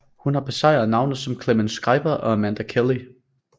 Hun har besejret navne som Clemence Schreiber og Amanda Kelly